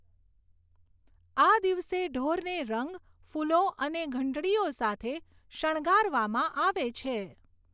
આ દિવસે ઢોરને રંગ, ફૂલો અને ઘંટડીઓ સાથે શણગારવામાં આવે છે.